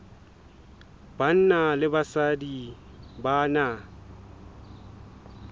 banna le basadi ba na